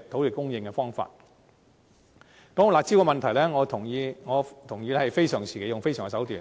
說到"辣招"的問題，我同意非常時期採用非常手段，